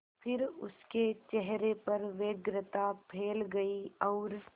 फिर उसके चेहरे पर व्यग्रता फैल गई और